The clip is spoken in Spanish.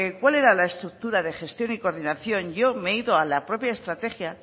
cuál era la estructura de gestión y de coordinación yo me he ido a la propia estrategia